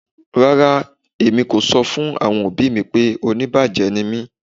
Rárá, èmi kò sọ̀ fún àwọn ọbì mí pé ọ̀níbájẹ̀ ní mí.